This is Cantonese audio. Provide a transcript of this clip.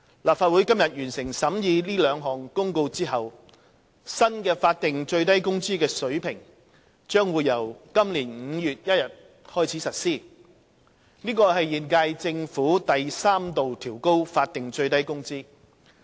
立法會今天完成審議這兩項公告後，新的法定最低工資水平將於今年5月1日開始實施，這是現屆政府第三度調高法定最低工資。